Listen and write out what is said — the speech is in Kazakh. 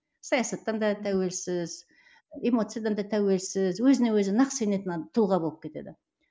саясаттан да тәуелсіз эмоциядан да тәуелсіз өзіне өзі нақ сенетін тұлға болып кетеді